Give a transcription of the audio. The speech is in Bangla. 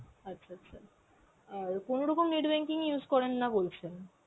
আচ্ছা আচ্ছা, অ্যাঁ কোনরকম net banking use করেন না বলছেন.